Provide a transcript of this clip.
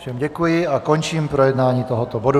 Všem děkuji a končím projednávání tohoto bodu.